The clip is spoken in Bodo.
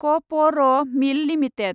क प र मिल लिमिटेड